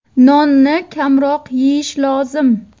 Nonni kamroq yeyish lozim.